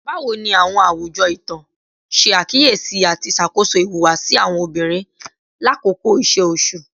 Bawo ni awọn awujọ itan ṣe akiyesi ati ṣakoso ihuwasi awọn obinrin lakoko iṣe oṣu?